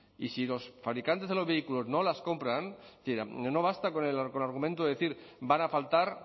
y si los fabricantes de los vehículos no las compran es decir no basta con el argumento de decir van a faltar